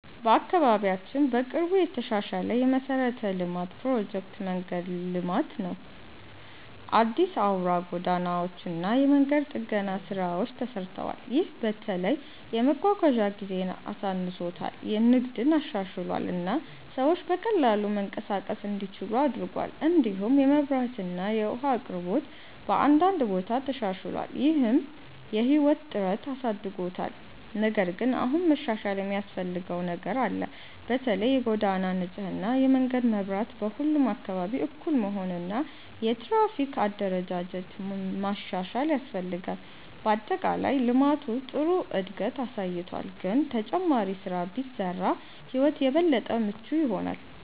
በአካባቢያችን በቅርቡ የተሻሻለ የመሠረተ ልማት ፕሮጀክት መንገድ ልማት ነው። አዲስ አውራ ጎዳናዎች እና የመንገድ ጥገና ስራዎች ተሰርተዋል። ይህ በተለይ የመጓጓዣ ጊዜን አሳንሶታል፣ ንግድን አሻሽሏል እና ሰዎች በቀላሉ መንቀሳቀስ እንዲችሉ አድርጓል። እንዲሁም የመብራት እና የውሃ አቅርቦት በአንዳንድ ቦታ ተሻሽሏል፣ ይህም የህይወት ጥራትን አሳድጎታል። ነገር ግን አሁንም መሻሻል የሚያስፈልገው ነገር አለ። በተለይ የጎዳና ንጽህና፣ የመንገድ መብራት በሁሉም አካባቢ እኩል መሆን እና የትራፊክ አደረጃጀት ማሻሻል ያስፈልጋል። በአጠቃላይ ልማቱ ጥሩ እድገት አሳይቷል፣ ግን ተጨማሪ ስራ ቢሰራ ሕይወት የበለጠ ምቹ ይሆናል።